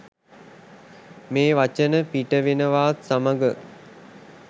මේ වචන පිට වෙනවාත් සමඟ